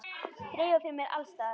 Þreifað fyrir mér alls staðar.